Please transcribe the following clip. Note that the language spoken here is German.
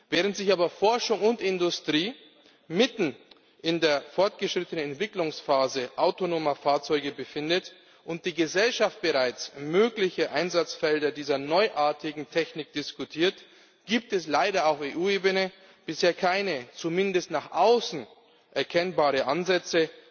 Während sich aber Forschung und Industrie mitten in der fortgeschrittenen Entwicklungsphase autonomer Fahrzeuge befinden und die Gesellschaft bereits mögliche Einsatzfelder dieser neuartigen Technik diskutiert, gibt es leider auf EU Ebene bisher keine zumindest nach außen erkennbaren Ansätze,